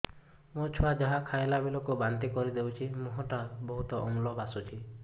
ମୋ ଛୁଆ ଯାହା ଖାଇଲା ବେଳକୁ ବାନ୍ତି କରିଦଉଛି ମୁହଁ ଟା ବହୁତ ଅମ୍ଳ ବାସୁଛି